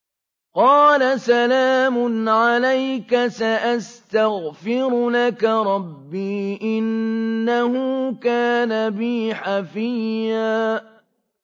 قَالَ سَلَامٌ عَلَيْكَ ۖ سَأَسْتَغْفِرُ لَكَ رَبِّي ۖ إِنَّهُ كَانَ بِي حَفِيًّا